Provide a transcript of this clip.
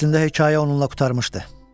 Əslində hekayə onunla qurtarmışdı.